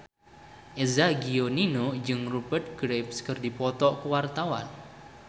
Eza Gionino jeung Rupert Graves keur dipoto ku wartawan